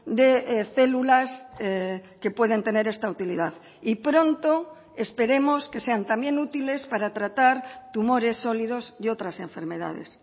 de células que pueden tener esta utilidad y pronto esperemos que sean también útiles para tratar tumores sólidos y otras enfermedades